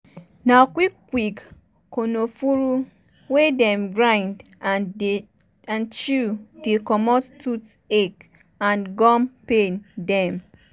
na quick quick konofuru wey dem grind and chew dey comot tooth ache and gum pain dem.